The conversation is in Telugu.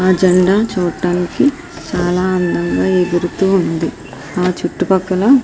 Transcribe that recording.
ఆ జెండా చూడ్డానికి చాలా అందంగా ఎగురుతూ ఉంది ఆ చుట్టు పక్కల.